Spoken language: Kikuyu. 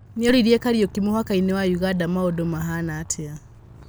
Nĩoririe Kariũki mũhakainĩ wa ũganda maũndũmahana atĩa?